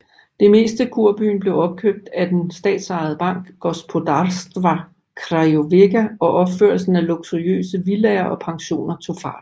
Det meste kurbyen blev opkøbt af den statsejede bank Gospodarstwa Krajowego og opførelsen af luksuriøse villaer og pensioner tog fart